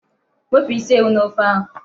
Wepụ isi ewu n'ofe ahụ.